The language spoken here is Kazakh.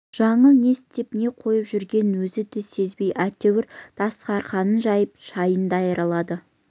жаңыл не істеп не қойып жүргенін өзі де сезбей әйтеуір дастарқанын жайып шайын даярлады